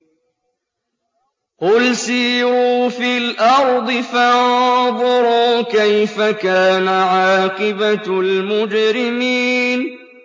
قُلْ سِيرُوا فِي الْأَرْضِ فَانظُرُوا كَيْفَ كَانَ عَاقِبَةُ الْمُجْرِمِينَ